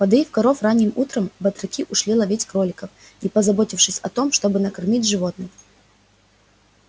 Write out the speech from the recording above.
подоив коров ранним утром батраки ушли ловить кроликов не позаботившись о том чтобы накормить животных